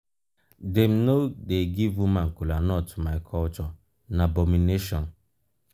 na children dey first greet eldas for my culture dem go respond.